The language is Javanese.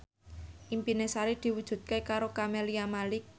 impine Sari diwujudke karo Camelia Malik